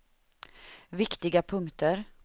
viktiga punkter